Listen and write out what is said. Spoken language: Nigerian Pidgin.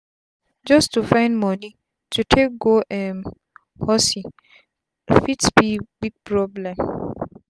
just to find moni to take go um hosyfit be big problem